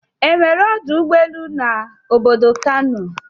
E nwere ọdụ ụgbọ elu n'obodo Kano.